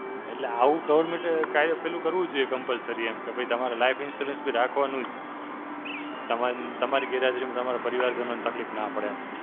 એટલે આવું government કઈ પેલું કરવું જોઈએ Compulsory એમ. કે ભઇ તમારે life insurance બી રાખવાનું જ. તમન તમારી ગેરહાજરીમાં તમરો પરિવાર જનોને તકલીફ ના પડે એમ.